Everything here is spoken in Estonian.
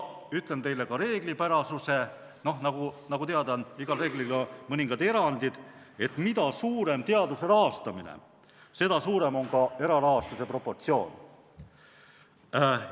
Ütlen teile ka reeglipärasuse – nagu teada, on igal reeglil mõningad erandid –, et mida suurem teaduse rahastamine, seda suurem on erarahastus proportsionaalselt.